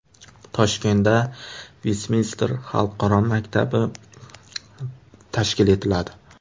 Toshkentda Vestminster xalqaro maktabi tashkil etiladi.